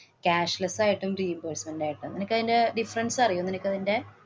cashless ആയിട്ടും, reimbursement ആയിട്ടും. നിനക്കയിന്‍റെ difference അറിയുവോ? നിനക്കതിന്‍റെ